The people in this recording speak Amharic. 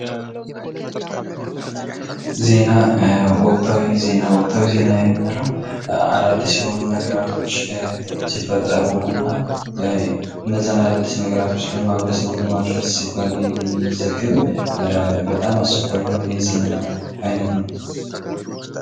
ዜና ። ወቅታዊ ዜና ፡ ወቅታዊ ዜና የምንለው አዳዲስ የሆኑ ነገራቶች ሲፈጠሩ እና እንዛን አዳዲስ ነገራቶች ለማኅበረሰቡ ለማድረስ ሲባል የሚዘገብ በጣም አስቸኳይ የሆነ የዜና አይነት ነው ።